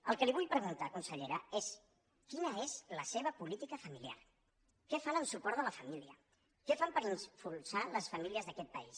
el que li vull preguntar consellera és quina és la seva política familiar què fan en suport de la família què fan per impulsar les famílies d’aquest país